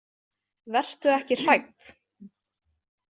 Vertu ekki hrædd.